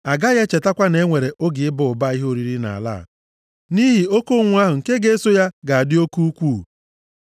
Agaghị echetakwa na e nwere oge ịba ụba ihe oriri nʼala a, nʼihi oke ụnwụ ahụ nke ga-eso ya ga-adị oke ukwuu.